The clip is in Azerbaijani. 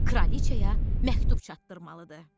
Kraliça məktub çatdırmalıdır.